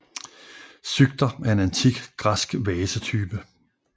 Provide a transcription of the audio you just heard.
Psykter er en antik græsk vasetype